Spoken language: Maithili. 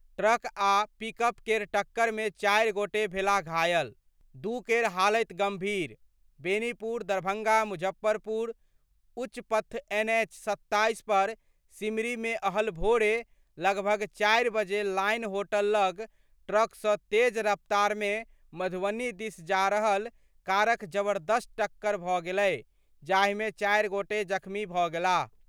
ट्रक आ पिकअप केर टक्कर मे चारि गोटे भेलाह घायल, दू केर हालति गंभीर बेनीपुर : दरभंगा - मुजफ्फरपुर उच्च पथ एन एच 27 पर सिमरीमे अहल भोरे लगभग चार बजे लाइन होटल लग ट्रक सं तेज रफ्तारमे मधुबनी दिस जा रहल कारक जबर्दस्त टक्कर भऽ गेलै जाहिमे चारिगोटे जख्मी भऽ गेलाह।